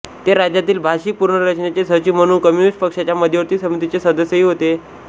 ते राज्यातील भाषिक पुनर्रचनेचे सचिव म्हणून कम्युनिस्ट पक्षाच्या मध्यवर्ती समितीचे सदस्यही होते